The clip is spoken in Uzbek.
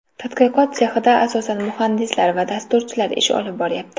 Tadqiqot sexida asosan muhandislar va dasturchilar ish olib boryapti.